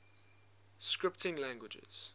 scripting languages